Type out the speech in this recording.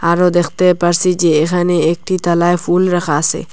আরও দ্যাখতে পারসি যে এহানে একটি তালায় ফুল রাখা আসে।